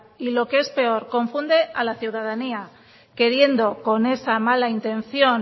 y lo que es peor confunde a la ciudadanía queriendo con esa mala intención